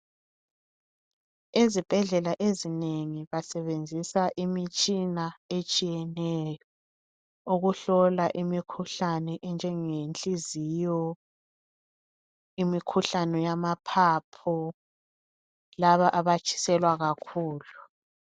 Ezibhedlela ezinengi basebenzisa imitshina etshiyeneyo ukuhlola imikhuhlane enjenge nhliziyo imikhuhlane yamaphaphu laba abatshiselwa kakhulu.